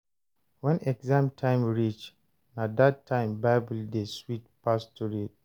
When exam time reach, na that time Bible dey sweet pass to read.